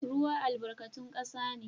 Ruwa albarkatun kasa ne